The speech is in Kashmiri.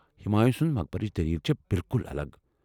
ہمایوں سُنٛد مقبرٕچ دٔلیٖل چھےٚ بالکل الگ۔